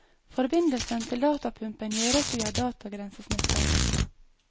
Forbindelsen til datapumpen gjøres via datagrensesnittet.